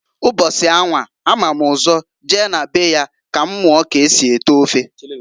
Mbọsi anwa a mam ụzọ je na be ya ka m muo k'esi ete ofe.